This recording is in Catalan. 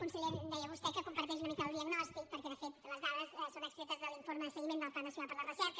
conseller deia vostè que comparteix una mica el diagnòstic perquè de fet les dades són extretes de l’informe de seguiment del pacte nacional per a la recerca